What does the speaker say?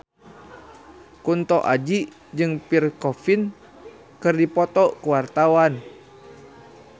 Kunto Aji jeung Pierre Coffin keur dipoto ku wartawan